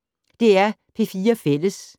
DR P4 Fælles